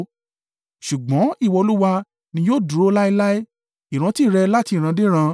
Ṣùgbọ́n ìwọ, Olúwa, ni yóò dúró láéláé; ìrántí rẹ láti ìran dé ìran.